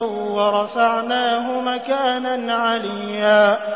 وَرَفَعْنَاهُ مَكَانًا عَلِيًّا